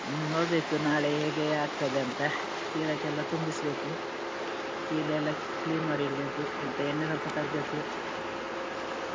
ಇನ್ನು ನೋಡ್ಬೇಕು ನಾಳೆ ಹೇಗೆ ಆಗ್ತದೆ ಅಂತ. ಚೀಲಕ್ಕೆಲ್ಲ ತುಂಬಿಸ್ಬೇಕು. ಚೀಲ ಎಲ್ಲಾ clean ಮಾಡಿ ಇಡ್ಬೇಕು. ಮತ್ತೆ ಎಣ್ಣೆ ಸ್ವಲ್ಪ ತರ್ಬೇಕು.